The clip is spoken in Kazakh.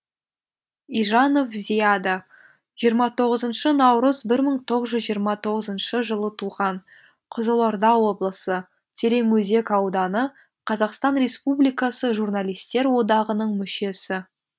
ижанов зияда жиырма тоғызыншы наурыз бір мың тоғыз жүз жиырма тоғызыншы жылы туған қызылорда облысы тереңөзек ауданы қазақстан республикасы журналистер одағының мүшесі